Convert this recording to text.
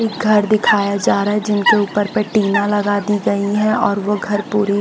एक घर दिखाया जा रहा है जिनके ऊपर पे टीना लगा दी गई है और वो घर पूरी--